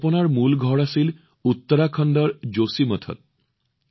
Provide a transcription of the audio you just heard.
কল্পনা মূলতঃ উত্তৰাখণ্ডৰ যোশীমঠৰ ছোৱালী